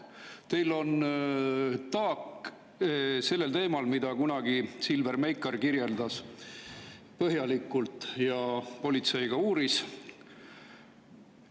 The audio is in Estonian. Teil on taak sellel teemal, mida kunagi Silver Meikar põhjalikult kirjeldas ja politsei ka uuris.